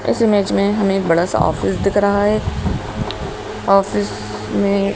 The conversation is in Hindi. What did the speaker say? इस इमेज में हमें एक बड़ा सा ऑफिस दिख रहा है ऑफिस में--